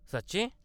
सच्चें !?